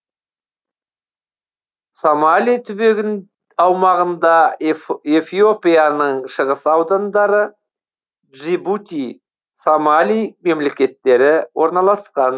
сомали түбегін аумағында эфиопияның шығыс аудандары джибути сомали мемлекеттері орналасқан